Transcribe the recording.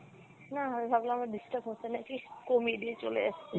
না আমি ভাবলাম আবার disturb হচ্ছে নাকি কমিয়ে দিয়ে চলে এসছি।